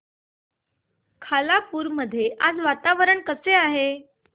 खालापूर मध्ये आज वातावरण कसे आहे